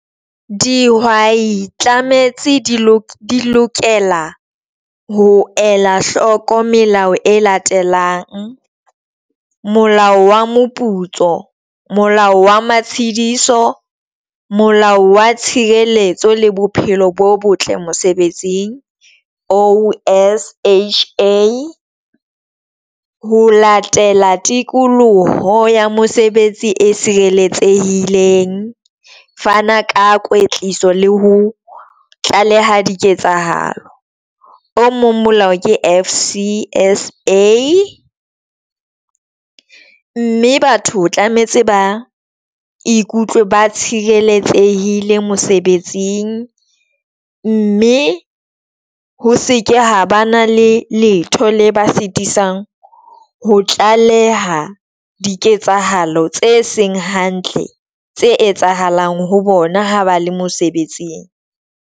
Dihwai tlametse di lokela ho ela hloko melao e latelang Molao wa Moputso, Molao wa Matshidiso, Molao wa Tshireletso le Bophelo bo Botle Mosebetsing O_S_H_A ha ho latela tikoloho ya mosebetsi e fana ka kwetliso le ho tlaleha di ketsahalo o mong. Molao ke F_C_S_A, mme batho o tlametse ba ikutlwe ba tshireletsehile mosebetsing mme ho seke ha ba na le letho le ba sitisang ho tlaleha diketsahalo tse seng hantle tse etsahalang ho bona ha ba le mosebetsing.